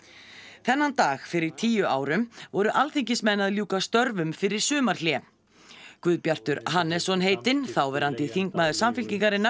þennan dag fyrir tíu árum voru alþingismenn að ljúka störfum fyrir sumarhlé Guðbjartur Hannesson heitinn þáverandi þingmaður Samfylkingarinnar